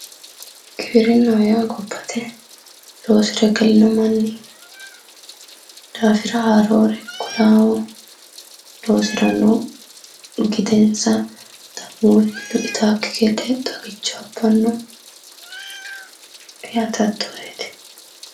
Giwirinnaho yaa gobbate loosire galino manni daafira haarore kulawo loosiranno gidensa da'mulchu itawokki gede xagicho abbanno Yaate hattooreeti